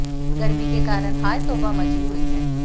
गर्मी के कारण हाय तौबा मची हुई है